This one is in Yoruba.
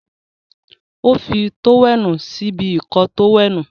o fí tówẹ́ẹ̀nù sí ibi Ìkọ́ọ tówẹ́ẹ̀nù.